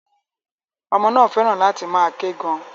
Ọmọ náà fẹ́ràn láti máa ké gan.